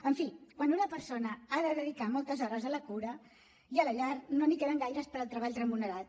en fi quan una persona ha de dedicar moltes hores a la cura i a la llar no n’hi queden gaires per al treball remunerat